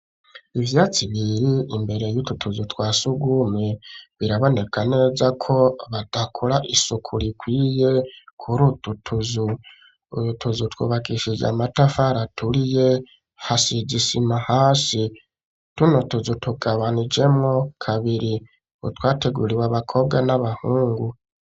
ivyatsi biri imbere yutwo tuzu twasugumwe biraboneka neza ko badakora isuku rikwiye kurutwo tuzu, utuzu twubakishije amatafara aturiye hasize isima hasi , tuno tuzu tugabanijemwo kabiri, utwateguriwe abakobwa n'abahungu.